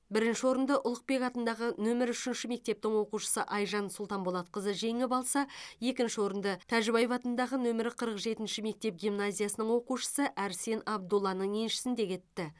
бірінші орынды ұлықбек атындағы нөмірі үшінші мектептің оқушысы айжан сұлтанболатқызы жеңіп алса екінші орынды тәжібаев атындағы нөмірі қырық жетінші мектеп гимназиясының оқушысы арсен абдулланың еншісінде кетті